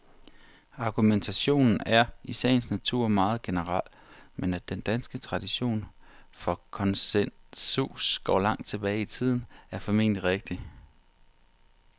Argumentationen er i sagens natur meget generel, men at den danske tradition for konsensus går langt tilbage i tiden, er formentlig rigtigt.